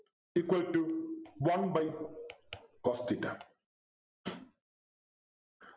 equal to one by cos theta